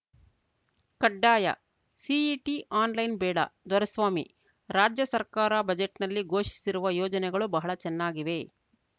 ಕಡ್ಡಾಯ CET online ಬೇಡ ದೊರೆಸ್ವಾಮಿ ರಾಜ್ಯ ಸರ್ಕಾರ ಬಜೆಟ್‌ನಲ್ಲಿ ಘೋಷಿಸಿರುವ ಯೋಜನೆಗಳು ಬಹಳ ಚೆನ್ನಾಗಿವೆ